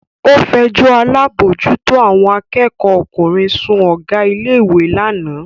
Ó fẹjọ́ alábòójútó àwọn akẹ́kọ̀ọ́ ọkùnrin sun Ọ̀gá ilé ìwé lánàá